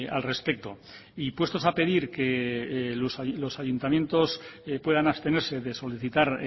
al respecto y puestos a pedir los ayuntamientos puedan abstenerse de solicitar